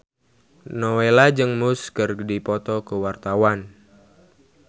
Nowela jeung Muse keur dipoto ku wartawan